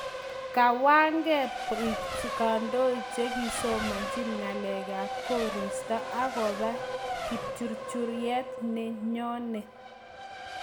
kawagee biik kandoik chekisomanchi ng'alek ab korista akoba kipchurchuryet nenyonee